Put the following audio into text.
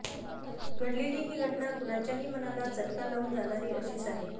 घडलेली ही घटना कुणाच्याही मनाला चटका लावून जाणारी अशीच आहे